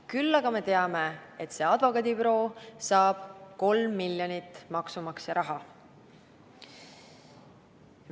Küll aga teame, et advokaadibüroo ise saab 3 miljonit eurot maksumaksja raha.